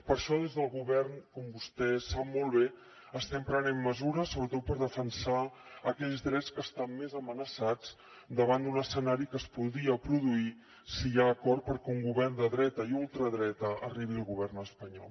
per això des del govern com vostè sap molt bé estem prenent mesures sobretot per defensar aquells drets que estan més amenaçats davant d’un escenari que es podria produir si hi ha acord perquè un govern de dreta i ultradreta arribi al govern espanyol